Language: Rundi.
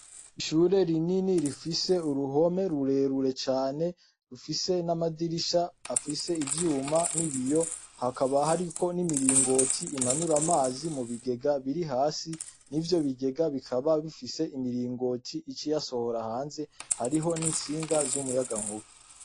Ishure rinini rifise uruhome rurerure cane, rufise n'amadirisha afise ivyuma n' ibiyo, hakaba hariko n'imiringoti imanura amazi mu bigega biri hasi, mw'ivyo bigega bikaba bifise imiringoti ica iyasohora hanze, hariho n'itsinga z'umuyagankuba.